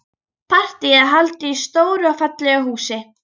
Partíið er haldið í stóru og fallegu húsi.